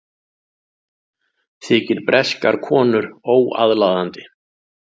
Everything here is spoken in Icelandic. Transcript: Þykir breskar konur óaðlaðandi